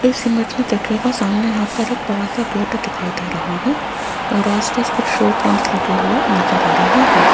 इस इमेज में देखिएगा सामने यहां पर एक बड़ा सा गेट दिखाई दे रहा है और आसपास कुछ शो प्लांट लगे हुए नजर आ रहे हैं।